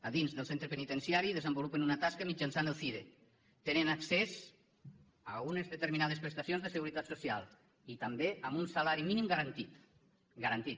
a dins del centre penitenciari desenvolupen una tasca mitjançant el cire tenen accés a unes determinades prestacions de seguretat social i també amb un salari mínim garantit garantit